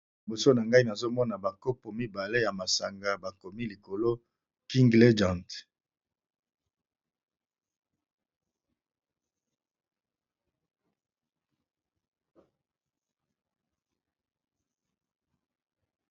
Liboso na ngai nazomona bankopo mibale ya masanga bakomi likolo king legend.